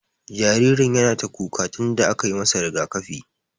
Jaririn yana ta kuka tun da aka yi masa rigaƙafi.